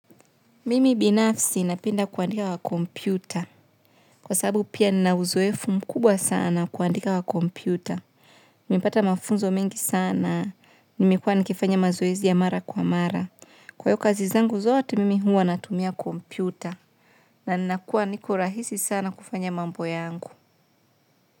Mimi binafsi napenda kuandika kwa kompyuta. Kwa sababu pia nina uzoefu mkubwa sana wa kuandika kwa kompyuta. Nimepata mafunzo mengi sana. Nimekuwa nikifanya mazoezi ya mara kwa mara. Kwa hiyo kazi zangu zote mimi huwa natumia kompyuta. Na ninakuwa niko rahisi sana kufanya mambo yangu.